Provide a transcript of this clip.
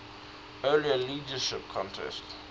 earlier leadership contest